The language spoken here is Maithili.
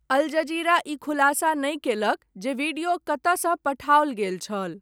अल जजीरा ई खुलासा नहि कयलक, जे वीडियो कतयसँ पठाओल गेल छल।